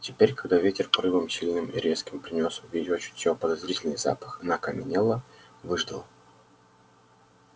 теперь когда ветер порывом сильным и резким принёс в её чутье подозрительный запах она окаменела выждала